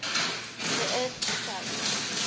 the earth skou